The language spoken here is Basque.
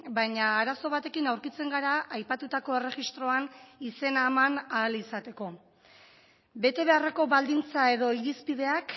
baina arazo batekin aurkitzen gara aipatutako erregistroan izena eman ahal izateko bete beharreko baldintza edo irizpideak